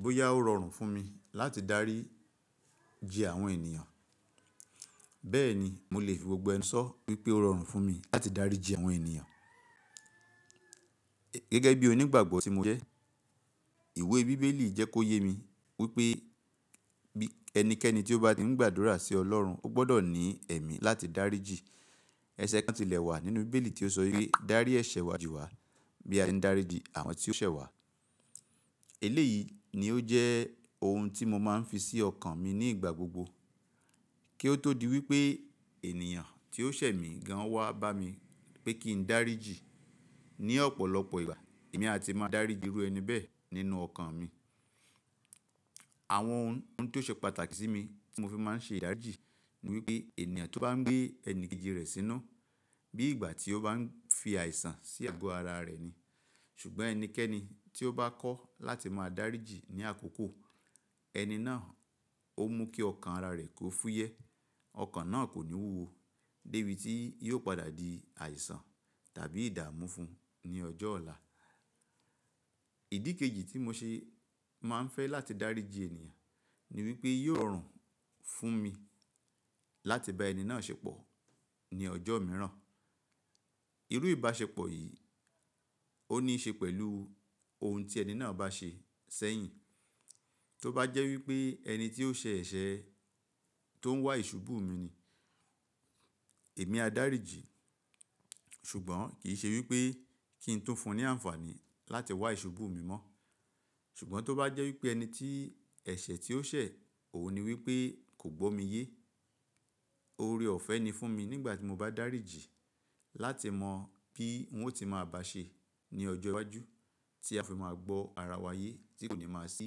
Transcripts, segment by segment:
Bóyá ó rọrùn fún mi láti daríji àwọn ènìyàn, bẹ́ẹ̀ni mo lè fi gbogbo ẹnu sọ wípé ó rọrùn fún mi láti daríji àwọn ènìyàn gẹ́gẹ́ bí onígbàgbọ́ tí mo jẹ́. Ìwé Bíbélì jẹ́ kó yé mi wípé ẹnikẹ́ni tí ó bá ti ń gbàdúrà sí Ọlọ́run, ó gbọ́dọ̀ ní ẹ̀mí láti dáríji. Ẹ̀ṣẹ̀ kan tilẹ̀ wà nínú Bíbélì tí ó sọ wípé “Dárí ẹ̀ṣẹ̀ wa jì wá bí a ṣe ń daríji àwọn tí ó ṣẹ̀ wá.” Eléyìí ni ó jẹ́ ohun tí mo máa ń fi sí ọkàn mi ní ìgbà gbogbo kí ó tó di wípé ènìyàn tí ó ṣẹ̀ mí gan wá bá mi pé kí n daríji ní ọ̀pọ̀lọpọ̀ ìgbà, èmi a ti máa dáríji irú ẹni bẹ́ẹ̀ nínú ọkàn mi. Àwọn ohun tó ṣe pàtàkì sí mi tí mo fi máa ń ṣe ìdáríjì ni wípé ènìyàn tó bá ń gbé ẹni kejì rẹ̀ sínú bí ìgbà tí ó bá ń fi àìsàn sí àgọ́ ara rẹ̀ ni. Ṣùgbọ́n ẹnikẹ́ni tí ó bá kọ́ láti máa dáríji ní àkókò, ẹni náà ó mú kí ọkàn ara rẹ̀ kó fúyẹ́, ọkàn náà kò ní wúwo dé bí tí yóò padà di àìsàn tàbí ìdààmú fún un ní ọjọ́ ọ̀la. Ìdí kejì tí mo ṣe máa ń fẹ́ láti dáríji ènìyàn ni wípé yóò rọrùn fún mi láti bá ẹni náà ṣẹpọ̀ ní ọjọ́ mìíràn. Irú ìbáṣepọ̀ yìí ó ní í ṣe pẹ̀lú ohun tí ẹni náà bá ṣe sẹ́yìn. Tó bá jẹ́ wípé ẹni tí ó ṣẹ̀ ẹṣẹ̀ tó ń wá ìṣubú mi ni, èmi á daríji, ṣùgbọ́n kì í ṣe wípé kí ń tún fún un ní àǹfààní láti wá ìṣubú mi mọ́. Ṣùgbọ́n tó bá jẹ́ wípé ẹni tí ẹ̀ṣẹ̀ tí ó ṣẹ̀ òun ni wípé kò gbọ́ mi yé, oore ọ̀fẹ́ ni fún mi nígbà tí mo bá daríji láti mọ̀ bí ń ó ti máa bá ṣe ní ọjọ́ iwájú tí a fi máa gbọ́ ara wa yé tí kò ní máa sí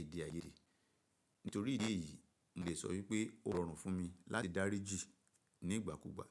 èdè àìyèrí. Nítorí ìdí èyí, mo lè sọ wípé ó rọrùn fún mi láti daríji ní ìgbàkúgbà.